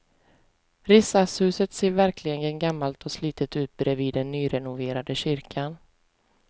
Riksdagshuset ser verkligen gammalt och slitet ut bredvid den nyrenoverade kyrkan.